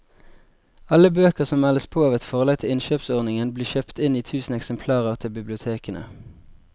Alle bøker som meldes på av et forlag til innkjøpsordningen blir kjøpt inn i tusen eksemplarer til bibliotekene.